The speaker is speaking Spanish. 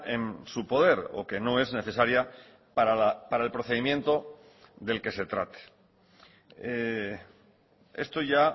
en su poder o que no es necesaria para el procedimiento del que se trate esto ya